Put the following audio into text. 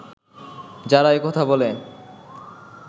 যারা একথা বলে